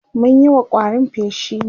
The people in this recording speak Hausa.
mun Yi wa ƙwarin feshi ne